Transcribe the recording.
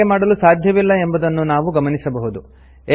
ಹಾಗೆ ಮಾಡಲು ಸಾಧ್ಯವಿಲ್ಲ ಎಂಬುದನ್ನು ನಾವು ಗಮನಿಸಬಹುದು